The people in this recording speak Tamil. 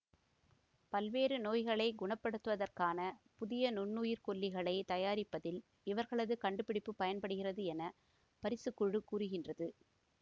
பல்வேறு நோய்களை குணப்படுத்துவதற்கான புதிய நுண்ணுயிர்க்கொல்லிகளை தயாரிப்பதில் இவர்களது கண்டுபிடிப்பு பயன்படுகிறது என பரிசுக்குழு கூறுகின்றது